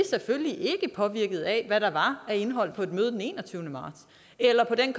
selvfølgelig ikke er påvirket af hvad der var af indhold på et møde den enogtyvende marts eller på en